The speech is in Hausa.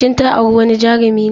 Shin ta auri wani Jarumi ne?